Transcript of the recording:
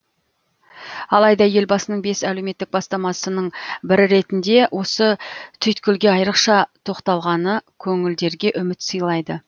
алайда елбасының бес әлеуметтік бастамасының бірі ретінде осы түйткілге айырықша тоқталғаны көңілдерге үміт сыйлайды